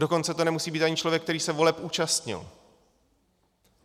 Dokonce to nemusí být ani člověk, který se voleb účastnil.